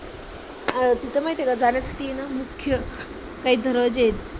अह तिथं माहित का जाण्यासाठी आहे ना मुख्य काही दरवाजे आहेत.